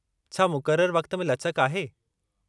छा मुक़ररु वक़्त में लचक आहे?